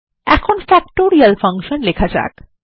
এখন factorial function লেখা যাক